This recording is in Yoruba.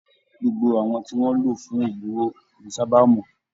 Gbogbo àwọn tí wọn lò fún ogún owó kìí sábà mọ